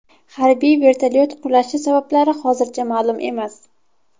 Harbiy vertolyot qulashi sabablari hozircha ma’lum emas.